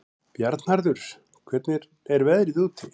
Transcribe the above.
Bjarnharður, hvernig er veðrið úti?